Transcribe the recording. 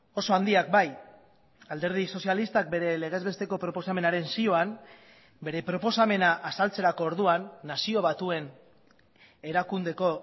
oso handiak bai alderdi sozialistak bere legez besteko proposamenaren zioan bere proposamena azaltzerako orduan nazio batuen erakundeko